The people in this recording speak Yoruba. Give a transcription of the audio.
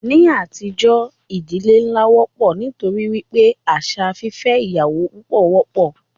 Ní àtijọ́, ìdílé nlá wọ́pọ̀ nítorí wípé àṣà fífẹ́ ìyàwó púpọ wọ́pọ̀.